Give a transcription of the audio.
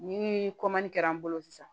Ni kɛra n bolo sisan